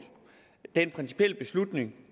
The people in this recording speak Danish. den principielle beslutning